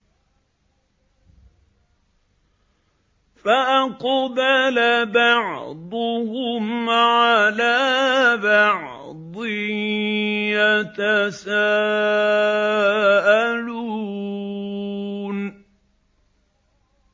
فَأَقْبَلَ بَعْضُهُمْ عَلَىٰ بَعْضٍ يَتَسَاءَلُونَ